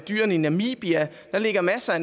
dyrene i namibia der ligger masser af